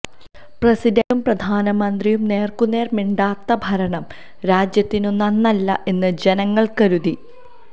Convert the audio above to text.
പ്രസിഡന്റും പ്രധാനമന്ത്രിയും നേർക്കുനേർ മിണ്ടാത്ത ഭരണം രാജ്യത്തിനു നന്നല്ല എന്ന് ജനങ്ങൾ കരുതി